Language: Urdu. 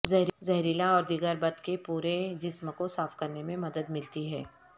زہریلا اور دیگر بتھ کے پورے جسم کو صاف کرنے میں مدد ملتی ہے